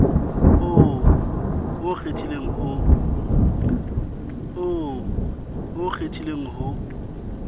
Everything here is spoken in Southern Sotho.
oo o o kgethileng ho